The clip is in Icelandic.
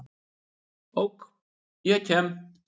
Ok, ég kem.